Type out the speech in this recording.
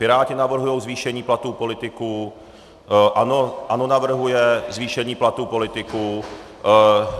Piráti navrhují zvýšení platů politiků, ANO navrhuje zvýšení platů politiků.